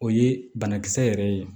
O ye banakisɛ yɛrɛ ye